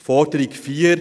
Zur Forderung 4: